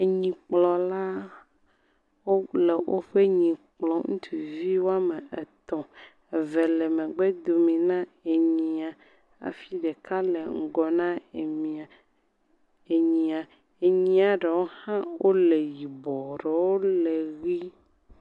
Enyilkplɔla le woƒe nyi kplɔm. Wòame etɔ. Eve le megbe domi. Enyia. Hafi ɖeka le ŋgɔ na enyia. Enyia ɖewo le yibɔ, ɖewo le ɣie